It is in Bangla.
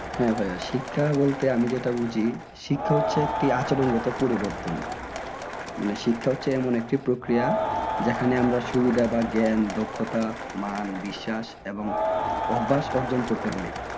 হ্যাঁ ভাই শিক্ষা বলতে আমি যেটা বুঝি শিক্ষা হচ্ছে একটা আচরণগত পরিবর্তন মানে শিক্ষা হচ্ছে এমন একটি প্রক্রিয়া যেখানে আমরা সুবিধা বা জ্ঞান দক্ষতা মান বিশ্বাস এবং অভ্যাস অর্জন করতে পারি।